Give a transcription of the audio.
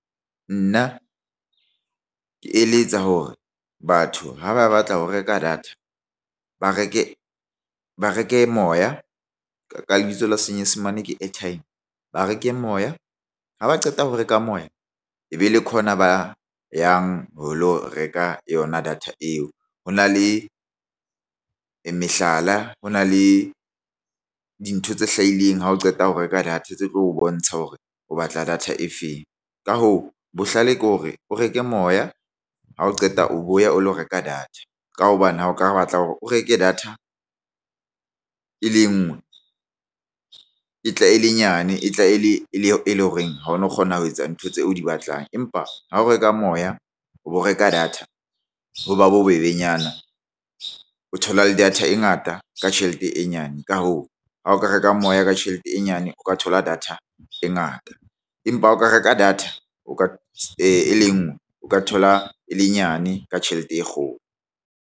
Nna ke eletsa hore batho ha ba batla ho reka data ba reke moya ka lebitso la Senyesemane ke airtime ba reke moya ha ba qeta ho reka moya e be ke hona ba ka yang ho lo reka yona data eo ho na le mehlala ho na le dintho tse hlahileng ha o qeta ho reka data tse tlo o bontsha hore o batla data e feng. Ka hoo, bohlale ke hore o reke moya ha o qeta o boya o lo reka data. Ka hobane ha o ka batla hore o reke data e le ngwe e tla e le nyane e tla e leng horeng ha o no kgona ho etsa ntho tseo o di batlang. Empa ha o reka moya ho reka data ha ba bobebenyana o thola le data e ngata ka tjhelete e nyane ka hoo ha o ka reka moya ka tjhelete e nyane o ka thola data e ngata empa o ka reka data o ka e le nngwe o ka thola e le nyane ka tjhelete e kgolo.